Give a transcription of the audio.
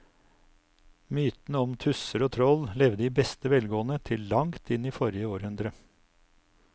Mytene om tusser og troll levde i beste velgående til langt inn i forrige århundre.